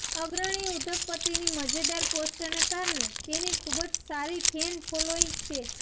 અગ્રણી ઉદ્યોગપતિની મજેદાર પોસ્ટને કારણે તેની ખૂબ જ સારી ફેન ફોલોઇંગ છે